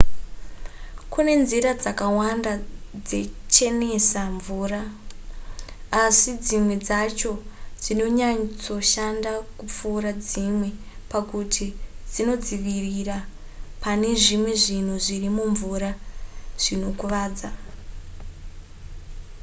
kune nzira dzakawanda dzechenesa mvura asi dzimwe dzacho dzinonyatsoshanda kupfuura dzimwe pakuti dzinodzivirira pane zvimwe zvinhu zviri mumvura zvinokuvadza